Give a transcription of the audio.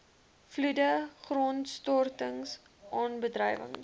vloede grondstortings aardbewings